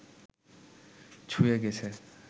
ছুঁয়ে গেছে